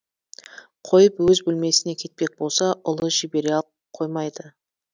қойып өз бөлмесіне кетпек болса ұлы жібере қоймайды